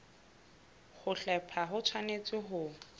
ho hlepha ho tshwanetse ho